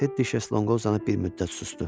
Tedi Şezlonqu uzanıb bir müddət susdu.